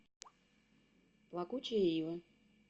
плакучая ива